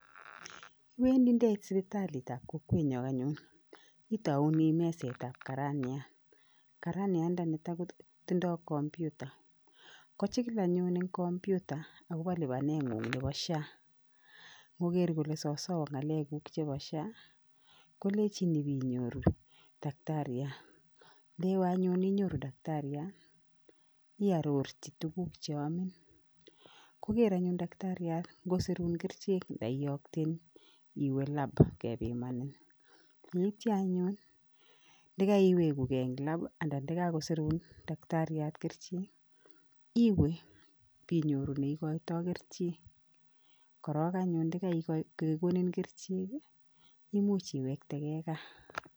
Iwendi ndeit sipitalitab kokwenyo anyun, itoune mesetab karaniat, karaniandanito kotindoi computer, kochikil anyun eng computer akobo lipanengung nebo Social Health Authority, ngoger kole sosoo ngalekuk chebo Social Health Authority, kolechin ip inyoru daktariat, ndewe anyun inyoru daktariat, iarorchi tuguk che amin, koker anyun daktariat ngosirun kerichek nda iyokten iwe lab kepimanin. Yeityo anyun ndakaiwekuke eng lab ii anan nda kakosirun daktariat kerichek, iwe bi nyoru neikoitoi kerichek korok anyun ndakakekonin kerichek ii imuch iwekteke gaa.